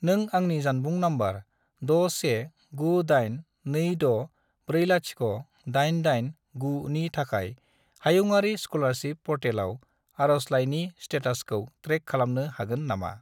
नों आंनि जानबुं नम्बर 61982640889 नि थाखाय हायुंआरि स्कलारसिप पर्टेलाव आरजलाइनि स्टेटासखौ ट्रेक खालामनो हागोन नामा?